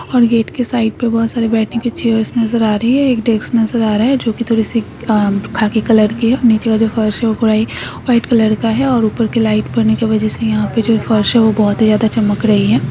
और गेट के साइड पे बहुत सारे बैठने की चेअर्स नज़र आ रही है और एक डेस्क नज़र आ रहा है जो की थोड़ीसी अ खाकी कलर के है नीचे की जो फर्श है वो पुरा ही व्हाइट कलर का है और ऊपर की लाइट पड़ने की वजह से यहाँ पे जो फर्श है वोह बहुत ही ज्यादा चमक रही है।